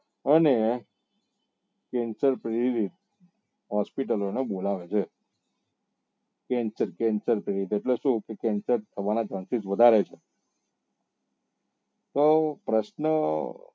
અને cancer થઇ ગયું hospital એને બોલાવે છે cancer cancer કરી એટલે શું કે cancer થવા ના chances વધારે છે તો પ્રશ્ન